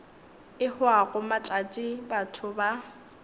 e hwago matšatši batho ba